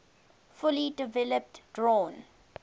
fully developed drawn